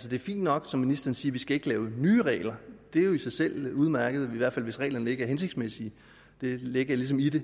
det er fint nok som ministeren siger vi skal lave nye regler det er jo i sig selv udmærket i hvert fald hvis reglerne ikke er hensigtsmæssige det ligger ligesom i det